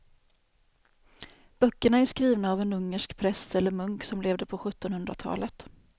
Böckerna är skrivna av en ungersk präst eller munk som levde på sjuttonhundratalet.